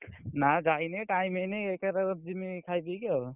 ନା ଯାଇନି time ହେଇନି ଏକା ଥରେ ଜିମି ଖାଇ ପିକି ଆଉ।